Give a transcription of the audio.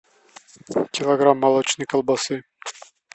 килограмм молочной колбасы